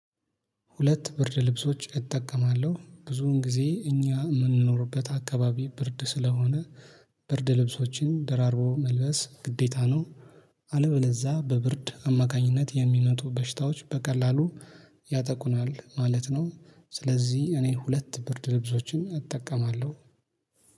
ሁለት ብርድ ልብሶች እጠቀማለሁ ብዙን ጊዜ እኛ የምንኖርበት አካባቢ ብርድ ስለሆነ ብርድ ልብሶችን ደራርቦ መልበስ ግዴታ ነው። አለበለዛ በብርድ አማካኝነት የሚመጡ በሽታዎች በቀላሉ ያጠቁናል ማለት ነው። ስለዚህ እኔ ሁለት ብርድ ልብሶችን እጠቀማለሁ